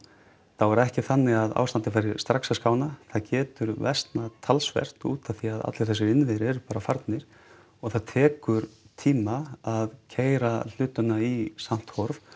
þá er ekki þannig að ástandið fari strax að skána það getur versnað talsvert út af því að allir þessir innviðir eru bara farnir og það tekur tíma að keyra hlutina í samt horf